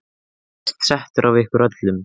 Ég er hæst settur af ykkur öllum!